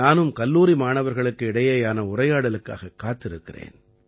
நானும் கல்லூரி மாணவர்களுக்கு இடையேயான உரையாடலுக்காகக் காத்திருக்கிறேன்